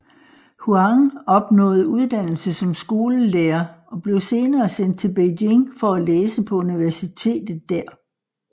Huang opnåede uddannelse som skolelærer og blev senere sendt til Beijing for læse på universitetet der